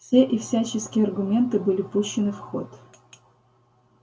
все и всяческие аргументы были пущены в ход